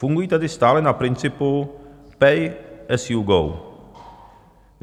Fungují tedy stále na principu pay as you go.